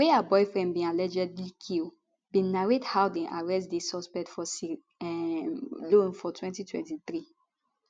wey her boyfriend bin allegedly kill bin narrate how dem arrest di suspect for sierra um leone for 2023